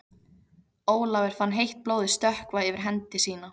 Ólafur fann heitt blóðið stökkva yfir hendi sína.